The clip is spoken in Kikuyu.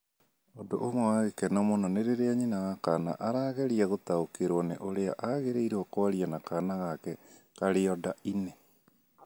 Ũndũ ũmwe wa gĩkeno mũno nĩ rĩrĩa nyina wa kaana arageria gũtaũkĩrũo nĩ ũrĩa agĩrĩirũo kwaria na kaana gake karĩa nda-inĩ.